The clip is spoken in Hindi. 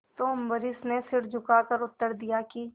तो अम्बरीश ने सिर झुकाकर उत्तर दिया कि